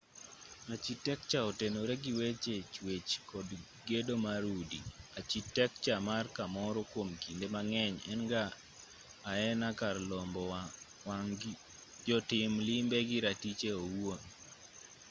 achitekcha otenore gi weche chuech kod gedo mar udi achitekcha mar kamoro kuom kinde mang'eny en ga aena kar lombo wang' jotim limbe gi ratiche owuon